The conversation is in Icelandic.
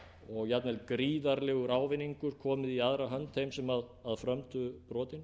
og jafnvel gríðarlegur ávinningur komið í aðra hönd þeim sem frömdu brotin